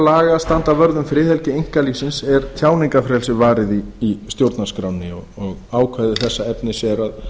laga standa vörð um friðhelgi einkalífsins er tjáningarfrelsið varið í stjórnarskránni og ákvæði þessa efnis er að